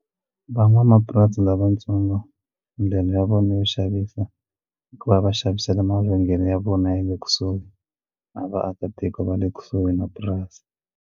Van'wamapurasi lavatsongo ndlela ya vona yo xavisa ku va va xavisela mavhengele ya vona ya le kusuhi na vaakatiko va le kusuhi na purasi.